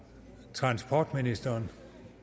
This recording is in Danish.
transportministeren